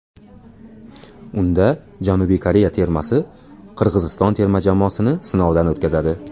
Unda Janubiy Koreya termasi Qirg‘iziston terma jamoasini sinovdan o‘tkazadi.